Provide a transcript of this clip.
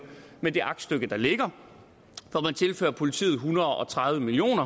med det aktstykke der ligger hvor man tilfører politiet en hundrede og tredive million